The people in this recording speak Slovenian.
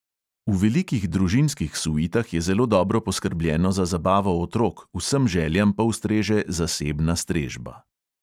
V velikih družinskih suitah je zelo dobro poskrbljeno za zabavo otrok, vsem željam pa ustreže zasebna strežba.